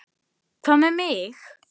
Ég þoldi hann ekki.